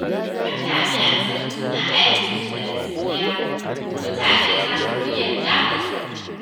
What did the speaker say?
Idan jami’an tsaro suna aikinsu da gaskiya, mutane za su fi yarda da su.